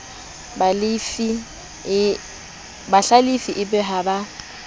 bahlalifi e be ha ba